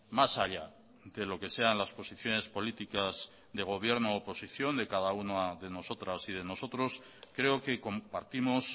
más allá de los que sean las posiciones políticas de gobierno u oposición de cada una de nosotras y de nosotros creo que compartimos